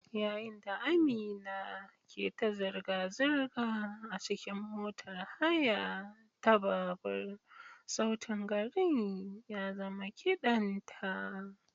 Yayin da Amina ke ta zirga-zirga a cikin motar haya ta babur, sautin garin ya zama kidan ta.